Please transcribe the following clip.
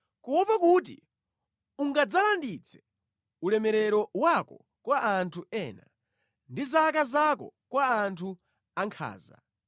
kuopa kuti ungadzalanditse ulemerero wako kwa anthu ena; ndi zaka zako kwa anthu ankhanza,